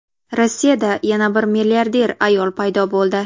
Rossiyada yana bir milliarder ayol paydo bo‘ldi.